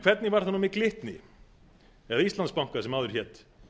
hvernig var það nú með glitni eða íslandsbanka sem áður hét